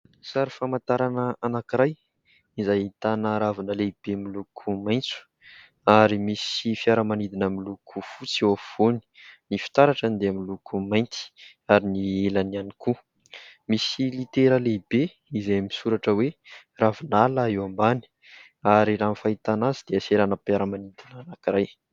Sary famantarana anankiray izay ahitana ravina lehibe miloko maintso, ary misy fiaramanidina miloko fotsy eo afovoany. Ny fitaratrany dia miloko mainty, ary ny elany ihany koa misy litera lehibe izay misoratra hoe ravinala eo ambany, ary raha ny fahitana azy dia seranam-piaramanidina anankiray.